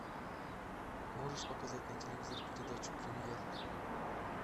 можешь показать на телевизоре передачу премьер